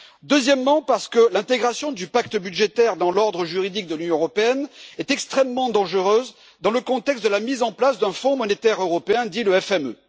Deuxièmement, parce que l'intégration du pacte budgétaire dans l'ordre juridique de l'Union européenne est extrêmement dangereuse dans le contexte de la mise en place d'un fonds monétaire européen, le FME.